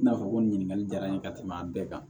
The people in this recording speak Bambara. I n'a fɔ ko nin ɲininkali jara n ye ka tɛmɛ a bɛɛ kan